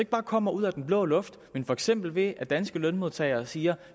bare kommer ud af den blå luft men for eksempel ved at danske lønmodtagere siger